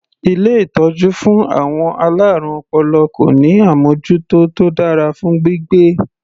Ilé ìtọ́jú fún àwọn alárùn ọpọlọ kò ní àmọ́jútó tó dára fún gbígbé.